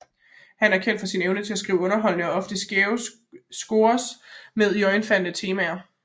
Han er kendt for sin evne til at skrive underholdende og ofte skæve scores med iørefaldende temaer